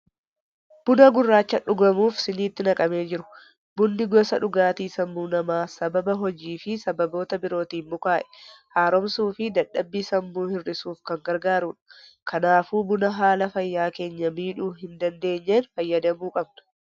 Buna gurraacha dhugamuuf shiniitti naqamee jiru. Bunni gosa dhugaatii sammuu namaa sababa hojii fi sababoota birootiin mukaa'e haaromsuu fi dadhabbii sammuu hir'isuuf kan gargaarudha. Kanaafuu buna haala fayyaa keenya miidhuu hin dandeenyeen fayyadamuu qabna.